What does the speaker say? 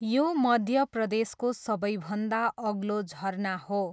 यो मध्य प्रदेशको सबैभन्दा अग्लो झरना हो।